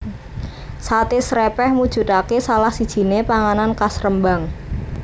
Sate Srèpèh mujudake salah sijiné panganan khas Rembang